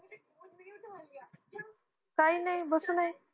काय नाय बसून ये